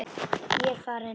Ég er farinn!